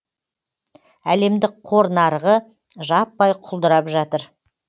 әлемдік қор нарығы жаппай құлдырап жатыр